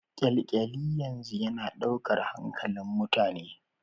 Kyalkyali yanzu yana daukar hankalin mutane.